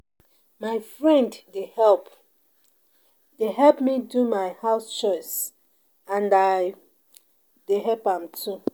My friend dey help dey help me do my house chores and I dey help am too